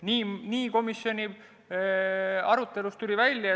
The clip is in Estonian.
Nii tuli komisjoni arutelus välja.